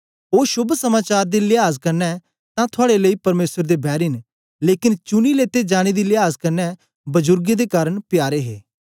ओ शोभ समाचार दे लियाज कन्ने तां थुआड़े लेई परमेसर दे बैरी न लेकन चुनी लिते जाने दी लियाज कन्ने बजुर्गें दे कारन प्यारे हे